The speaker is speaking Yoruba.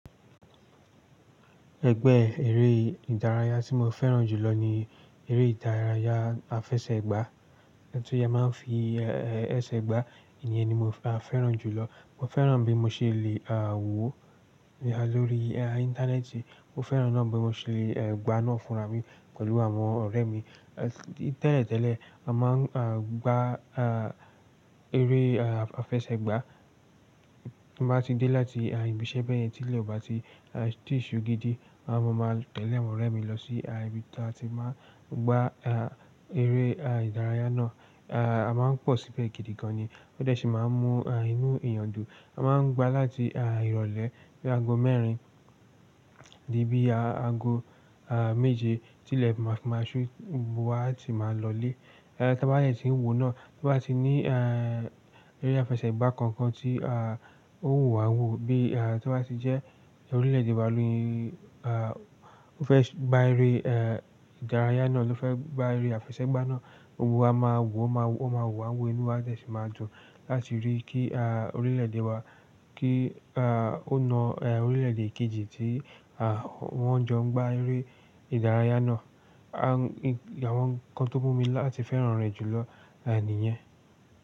Ẹgbẹ́ eré ìdárayá tí mo fẹ́ràn jùlọ ni eré ìdárayá afẹsẹ̀gbá. Tí a máa ń fi ẹsẹ̀ gbá, èyen ni mo, a fẹ́ràn jùlọ. Mo fẹ́ràn bí mo ṣe lè wò ó lórí ìntanẹ́ẹ̀tì, mo fẹ́ràn náà bí mo ṣe lè gbá á náà fúnra mi pẹ̀lú àwọn ọ̀rẹ́ mi. Tẹ́lẹ̀ tẹ́lẹ̀ a máa ń gbá a eré afẹsẹ̀gbá tí n bá ti dé láti ibiṣẹ́ bẹ́ẹ̀ yẹn tí ilẹ̀ ò bá ti ṣú gidi. A máa maa tẹlé àwọn ọrẹ mi lọ sí ibi tí a ti máa ń gbá eré ìdárayá náà. A máa ń pọ̀ síbẹ̀ gidi gan ni, ó de si máa ń mú inú èèyàn dùn. A máa ń gbá láti ìrọ̀lẹ́ dé ago mẹ́rin, dí bí ago méje tí ilẹ̀ bá ti máa ṣú, gbogbo wa ti máa lọlé. Taba de tí ń wòó náà, tí wọ́n bá ti ní ẹrẹ́ afẹsẹ̀gbá kankan tí ó wù wá wò bí tí o bá ti jẹ́ orílẹ̀ èdè wa ni, ó fẹ́ gbá eré ìdárayá náà ló fẹ́ gbá eré afẹsẹ̀gbá náà, gbogbo wa máa wò ó, o máa wù wá wò inú wa de si máa dùn láti rí kí orílẹ̀ èdè wa kí ó na orílẹ̀ èdè kejì tí wọ́n ń jọ gbá eré ìdárayá náà. Àwọn nǹkan tó mú mi láti fẹ́ràn rẹ̀ jùlọ ni ìyẹn.